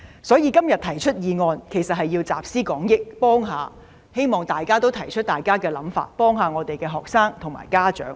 所以，我今天動議這議案其實是要集思廣益，希望大家都提出想法，幫助學生及家長。